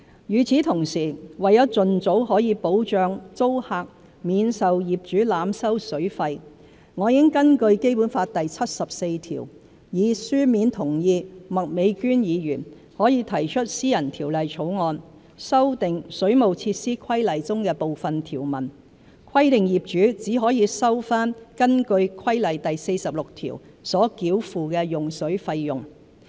與此同時，為盡早可保障租客免受業主濫收水費，我已根據《基本法》第七十四條，以書面同意麥美娟議員可提出私人條例草案，修訂《水務設施規例》中的部分條文，規定業主只可收回根據規例第46條所繳付的用水費用。